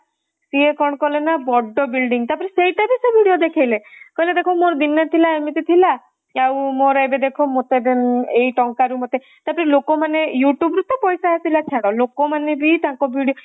ସିଏ କଣ କଲେ ନା ବଡ building ତା ପରେ ସେଇଟା ବି ତା video ଦେଖେଇଲେ କହିଲେ ଦେଖ ମୋର ଦିନ ଥିଲା ଏମିତି ଥିଲା ମୋର ଏବେ ଦେଖ ମୋର ତ ଏବେ ଦେଖ ମୋର ଏଇ ଟଙ୍କାରୁ ମାନେ ତ ପରେ ଲୋକମାନେ youtube ରୁ ତ ପଇସା ଆସିଲା ଛାଡ ଲୋକମାନେ ବି ତାଙ୍କ video